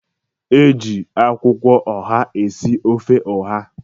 E ji akwụkwọ oha esi ofe oha.